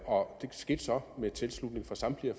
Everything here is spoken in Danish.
og det skete så med tilslutning fra samtlige af